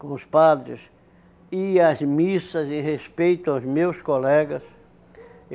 com os padres e as missas em respeito aos meus colegas.